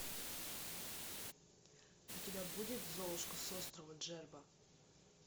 у тебя будет золушка с острова джерба